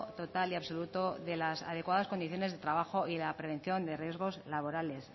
total y absoluto de las adecuadas condiciones de trabajo y la prevención de riesgos laborales